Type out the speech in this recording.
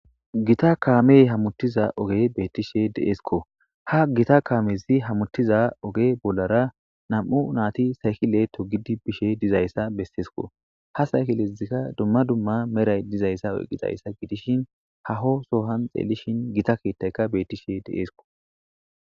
gita kaamey hamutiza ogge bettishe deesko ha gita kaamezi hammutiza ogge bollara nam7u naati saykile togidi bishe dizayssa besseesko ha saykilezikka duma duma meray dizayssa oyqixayssa gidishin haho soohon xeelishin gita keettayka beettishe deesko.